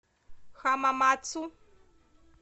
хамамацу